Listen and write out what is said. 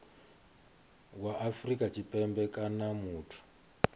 wa afrika tshipembe kana muthu